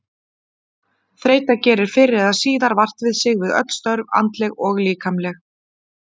Þreyta gerir fyrr eða síðar vart við sig við öll störf, andleg og líkamleg.